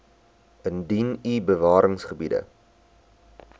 indien u bewaringsgebiede